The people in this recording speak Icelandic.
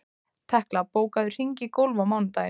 Tekla, bókaðu hring í golf á mánudaginn.